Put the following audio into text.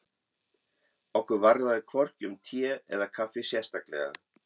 Okkur varðaði hvorki um te eða kaffi sérstaklega.